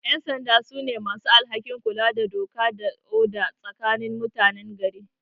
Ƴansanda su ne masu alhakin kula da doka da oda tsakanin mutanen gari